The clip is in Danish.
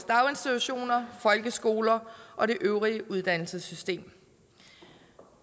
daginstitutioner folkeskoler og det øvrige uddannelsessystem